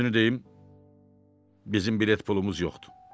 Düzünü deyim, bizim bilet pulumuz yoxdur.